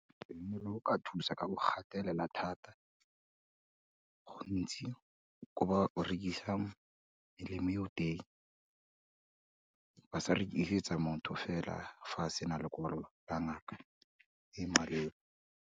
Molao o ka thusa ka go gatelela thata, gontsi ko ba rekisang melemo eo teng, ba sa rekisetsa motho fela fa a sena lekwalo la ngaka, e maleba.